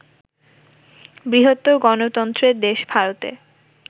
বৃহত্তর গণতন্ত্রের দেশ ভারতে